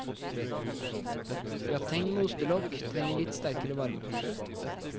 Grateng med ostelokk trenger litt sterkere varme.